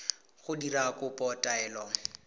go dira kopo ya taelo